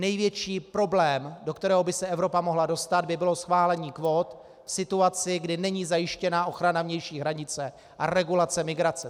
Největší problém, do kterého by se Evropa mohla dostat, by bylo schválení kvót v situaci, kdy není zajištěna ochrana vnější hranice a regulace migrace.